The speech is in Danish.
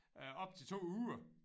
Øh op til 2 uger